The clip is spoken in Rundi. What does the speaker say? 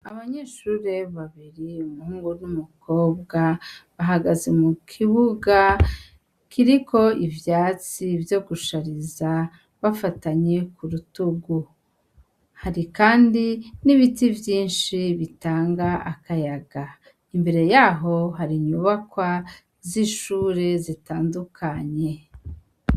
Abanyeshure babiri umuhungu numukobwa bahagaze mukibuga kiriko ivyatsi vyo gushariza bafatanye kudutugu hari kandi nibiti vyinshi bitanga akayaga imbere yaho hari inyubakwa zishure zitandukanye